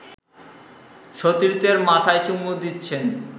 সতীর্থের মাথায় চুমু দিচ্ছেন